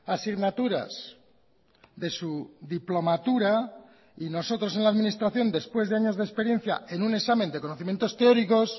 asignaturas de su diplomatura y nosotros en la administración después de años de experiencia en un examen de conocimientos teóricos